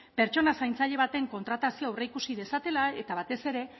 pertsona zaintzaile baten kontratazioa aurreikusi dezatela eta batez ere